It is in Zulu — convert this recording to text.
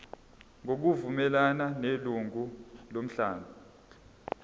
ngokuvumelana nelungu lomkhandlu